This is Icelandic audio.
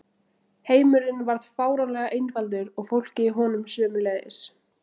Heimurinn varð fáránlega einfaldur og fólkið í honum sömuleiðis.